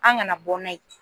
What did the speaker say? An kana bɔ n'a ye